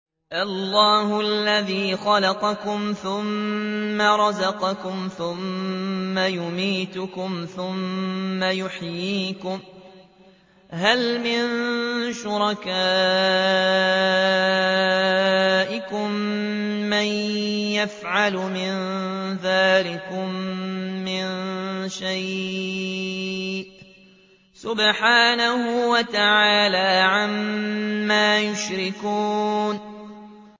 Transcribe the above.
اللَّهُ الَّذِي خَلَقَكُمْ ثُمَّ رَزَقَكُمْ ثُمَّ يُمِيتُكُمْ ثُمَّ يُحْيِيكُمْ ۖ هَلْ مِن شُرَكَائِكُم مَّن يَفْعَلُ مِن ذَٰلِكُم مِّن شَيْءٍ ۚ سُبْحَانَهُ وَتَعَالَىٰ عَمَّا يُشْرِكُونَ